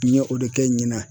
N ye o de kɛ ɲina